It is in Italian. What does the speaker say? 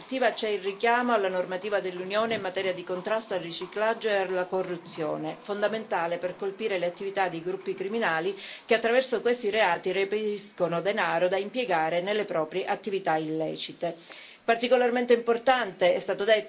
Tra le disposizioni più significative della direttiva c'è il richiamo alla normativa dell'Unione in materia di contrasto al riciclaggio e alla corruzione, fondamentale per colpire le attività dei gruppi criminali che, attraverso questi reati, reperiscono denaro da impiegare nelle proprie attività illecite.